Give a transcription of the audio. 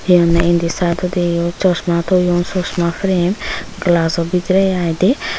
hi honney indi saidodi sosma toyon sosma frame glajo bidirey ai dey.